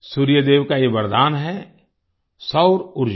सूर्य देव का ये वरदान है सौर ऊर्जा